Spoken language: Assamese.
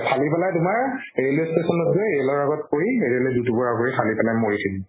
ফালি পেলাই তোমাৰ railway station ত গৈ ৰেলৰ আগত পৰি ৰেলে দুটুকুৰা কৰি ফালি পেলাই মৰি থাকিল